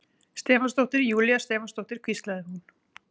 Stefánsdóttir, Júlía Stefánsdóttir, hvíslaði hún.